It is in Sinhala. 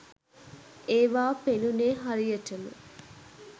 ඒවා පෙනුනේ හරියටම